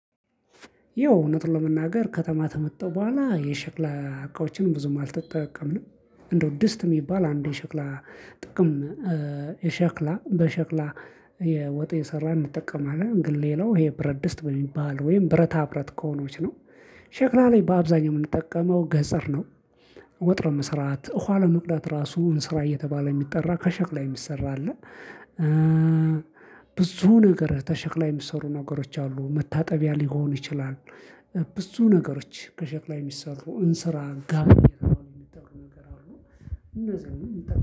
ያው እውነት ለመናገር ከተማ ከመጣው በኋላ የሸክላ እቃዎችንም ብዙም አልተጠቀምንም። እንደው ድስት የሚባል አንድ የሸክላ ጥቅም የሸክላ በሸክላ የወጥ እየየሰራን እንጠቀማለን ግን ሌላው ይሄ ብረት ድስት በሚባል ወይም ብረታብረት ከሆኖች ነው። ሸክላ ላይ በአብዛኛው የምንጠቀመው ገጸር ነው። ወጥ ለመስራት ውሃ ለመቅዳት ራሱ እንስራ እየተባለ የሚጠራ ከሸክላ የሚሰራ አለ። ብዙ ነገር ከሸክላ የሚሰሩ ነገሮች አሉ መታጠቢያ ሊሆን ይችላል። ብዙ ነገሮች ከሸክላ የሚሰሩ እንስራ ጋብኝት ነገር አሉ። እንደዛ ነው